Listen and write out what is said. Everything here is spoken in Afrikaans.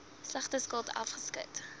slegte skuld afgeskryf